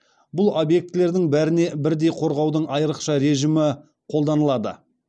бұл объектілердің бәріне бірдей қорғаудың айрықша режімі қолданылады